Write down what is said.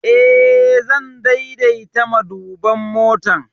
Eh, zan daidaita maduban motar.